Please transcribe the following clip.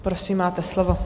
Prosím, máte slovo.